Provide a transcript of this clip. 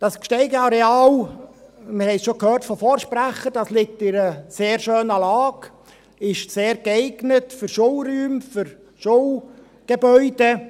Das Gsteig-Areal, wir haben es schon gehört von Vorsprechern, liegt an einer sehr schönen Lage, ist sehr geeignet für Schulräume, für Schulgebäude.